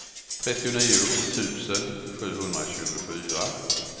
trettionio tusen sjuhundratjugofyra